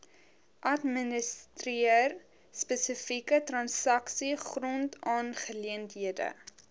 administreer spesifieke transaksiegrondaangeleenthede